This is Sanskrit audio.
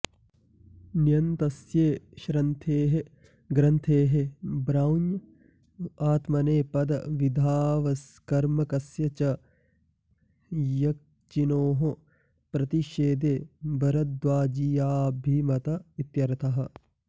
ण्यन्तस्ये श्रन्थेः ग्रन्थेः ब्राऊञ आत्मनेपदविधावकर्मकस्य च यक्चिणोः प्रतिषेधो भारद्वाजीयाऽभिमत इत्यर्थः